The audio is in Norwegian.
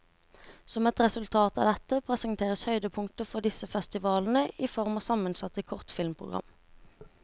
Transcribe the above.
Som et resultat av dette, presenteres høydepunkter fra disse festivalene i form av sammensatte kortfilmprogram.